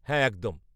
-হ্যাঁ একদম।